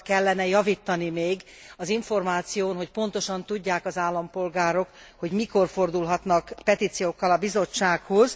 Sokat kellene javítani még az információn, hogy pontosan tudják az állampolgárok, hogy mikor fordulhatnak petíciókkal a bizottsághoz.